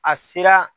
A sera